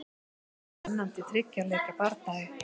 Spennandi þriggja leikja bardagi.